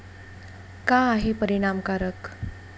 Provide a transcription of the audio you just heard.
का आहे परिणामकारक?